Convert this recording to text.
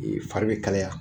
fari bɛ kalaya